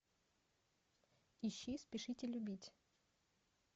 ищи спешите любить